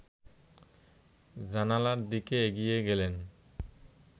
জানালার দিকে এগিয়ে গেলেন